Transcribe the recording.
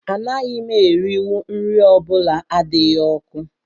Anaghị m erinwu nri ọ bụla adịghị ọkụ